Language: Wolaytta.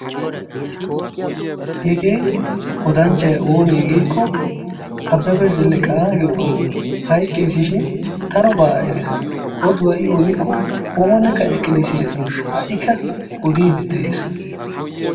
Hegee odanchchay oone giikko Abebe Zeleqa giyooga. Hayqqis shin darobbs eres, oduwaa i odikko oonikka eqqidi siyes, ha'ikka odyidi de'es.